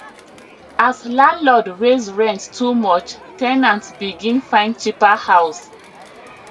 as landlord raise rent too much ten ants begin find cheaper house